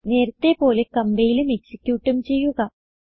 നേരത്തെ പോലെ കംപൈലും എക്സിക്യൂട്ടും ചെയ്യുക